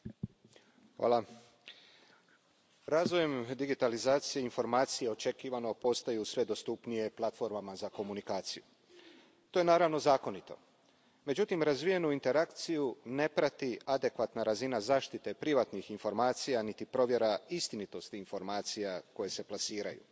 Poštovani predsjedavajući, hvala. Razvojem digitalizacije informacije očekivano postaju sve dostupnije platformama za komunikaciju. To je naravno zakonito. Međutim, razvijenu interakciju ne prati adekvatna razina zaštite privatnih informacija niti provjera istinitosti informacija koje se plasiraju.